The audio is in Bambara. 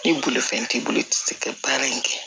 Ni bolifɛn t'i bolo i tɛ se ka baara in kɛ